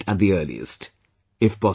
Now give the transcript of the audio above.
Please schedule it at the earliest